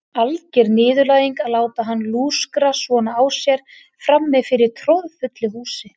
Alger niðurlæging að láta hann lúskra svona á sér frammi fyrir troðfullu húsi.